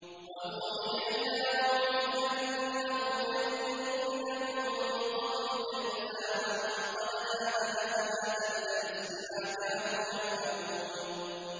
وَأُوحِيَ إِلَىٰ نُوحٍ أَنَّهُ لَن يُؤْمِنَ مِن قَوْمِكَ إِلَّا مَن قَدْ آمَنَ فَلَا تَبْتَئِسْ بِمَا كَانُوا يَفْعَلُونَ